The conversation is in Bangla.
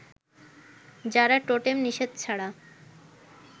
যারা টোটেম-নিষেধ ছাড়া